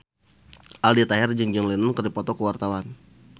Aldi Taher jeung John Lennon keur dipoto ku wartawan